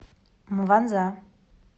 мванза